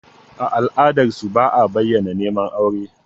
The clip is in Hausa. A ala'adarsu, ba a bayyana neman aure.